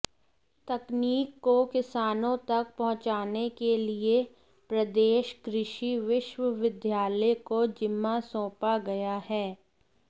तकनीक को किसानों तक पहुंचाने के लिए प्रदेश कृषि विश्वविद्यालय को जिम्मा सौंपा गया है